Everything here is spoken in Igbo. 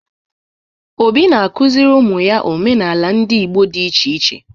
Obinna na-akụziri ụmụ ya omenala ndị Igbo dị iche iche.